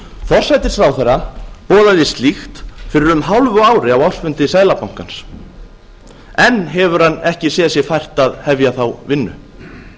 forsætisráðherra boðaði slíkt fyrir um hálfu ári á ársfundi seðlabankans enn hefur hann ekki séð sér fært að hefja þá vinnu